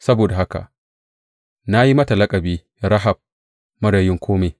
Saboda haka na yi mata laƙabi Rahab Marar Yin Kome.